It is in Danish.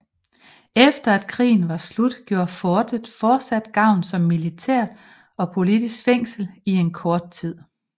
Efter at krigen var slut gjorde fortet fortsat gavn som militært og politisk fængsel i en kort tid